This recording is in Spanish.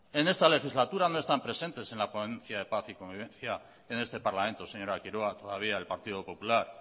en esta legislatura no están presentes en la ponencia de paz y convivencia en este parlamento señora quiroga todavía el partido popular